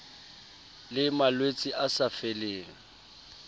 le malwetse a sa feleng